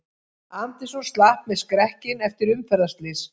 Anderson slapp með skrekkinn eftir umferðarslys